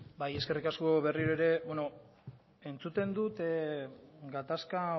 bai eskerrik asko berriro ere beno entzuten dut gatazka